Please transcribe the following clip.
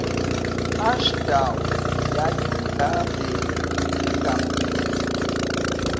ashdown yayimgabhe ingamnike